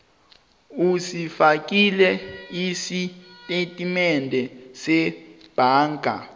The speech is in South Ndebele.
usifakile isitatimende sebhanga